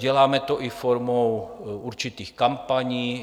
Děláme to i formou určitých kampaní.